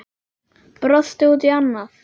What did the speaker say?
Brosti út í annað.